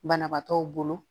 Banabaatɔw bolo